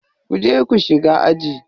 Ku je ku shiga aji.